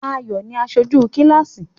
Ayọ̀ ni aṣojú kíláàsì.